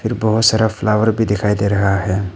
बहोत सारा फ्लावर भी दिखाई दे रहा है।